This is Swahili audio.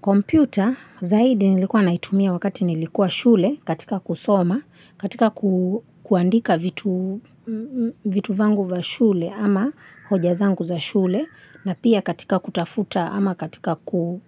Computer zaidi nilikuwa naitumia wakati nilikuwa shule katika kusoma, katika ku kuandika vitu vangu va shule ama hoja zangu za shule na pia katika kutafuta ama katika ku